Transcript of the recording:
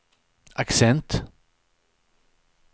accent